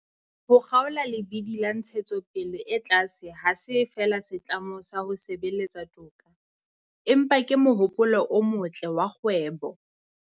Ho kgaola lebidi la ntshetsopele e tlase ha se feela setlamo sa ho sebeletsa toka, empa ke mohopolo o motle wa kgwebo.